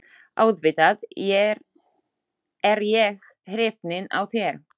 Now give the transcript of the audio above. Auðvitað er ég hrifinn af þér.